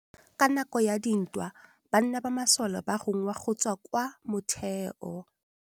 Ka nakô ya dintwa banna ba masole ba rongwa go tswa kwa mothêô.